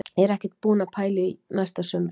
Ég er ekkert búinn að pæla í næsta sumri.